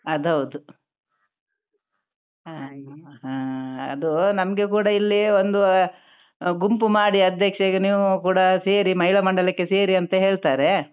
ಅದು ಹೌದು ಹಾ ಅದು ನಮ್ಗೆ ಕೂಡ ಇಲ್ಲಿ ಒಂದು ಗುಂಪು ಮಾಡಿ ಅಧ್ಯಕ್ಷ ಈಗ ನೀವು ಕೂಡ ಸೇರಿ ಮಹಿಳಾ ಮಂಡಲಕ್ಕೆ ಸೇರಿ ಅಂತ ಹೇಳ್ತಾರೆ.